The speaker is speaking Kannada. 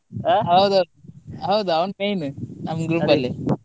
ಹೌದು ಹೌದು ಅವ್ನ್ main ನಮ್ group ಅಲ್ಲಿ.